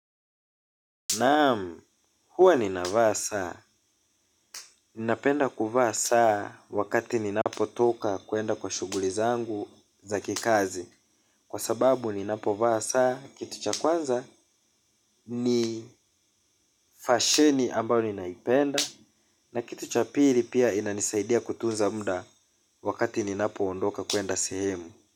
Naam, huwa ninavaa saa, ninapenda kuvaa saa wakati ninapotoka kwenda kwa shughuli zangu za kikazi. Kwa sababu ninapovaa saa, kitu cha kwanza ni fasheni ambayo ninaipenda. Na kitu cha pili pia inanisaidia kutunza mda wakati ninapoondoka kwenda sehemu.